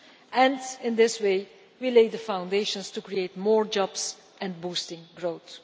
Hence, in this way we lay the foundations to create more jobs and boost growth.